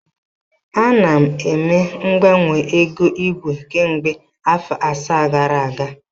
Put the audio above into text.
Anọ m eme mgbanwe ego igwe kemgbe afọ asaa gara aga.